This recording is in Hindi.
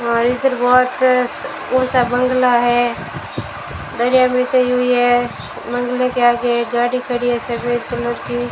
हमारी तरफ बहोत ऊंचा बंगला है दरिया बिछाई हुई है बंगले के आगे गाड़ी खड़ी है सफेद कलर की।